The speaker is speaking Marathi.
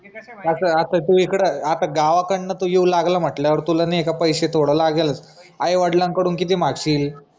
कसं ये आता तू इकड गावाकडनं तू येऊ लागला म्हंटल्यावर तुला नाय का पैसे थोडे लागेलच आई वडिलांकडून किती मागशील